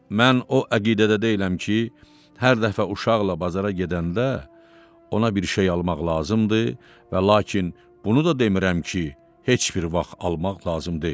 Mən o əqidədə deyiləm ki, hər dəfə uşaqla bazara gedəndə ona bir şey almaq lazımdır və lakin bunu da demirəm ki, heç bir vaxt almaq lazım deyil.